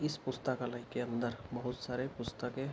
इस पुस्तकालय के अंदर बहुत सारे पुस्तकें --